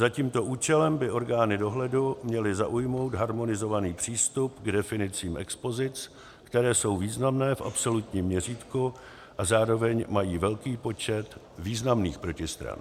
Za tímto účelem by orgány dohledu měly zaujmout harmonizovaný přístup k definicím expozic, které jsou významné v absolutním měřítku a zároveň mají velký počet významných protistran.